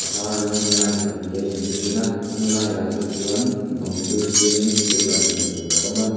a var rawngin line pahnih a inrin a kawng laiah te chuan bang chu siamin thirban hmuh tur a awm a.